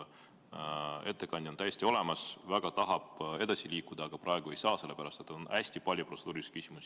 Ettekandja on täiesti olemas, väga tahab edasi liikuda, aga praegu ei saa, sellepärast et on hästi palju protseduurilisi küsimusi.